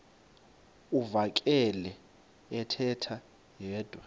uvakele ethetha yedwa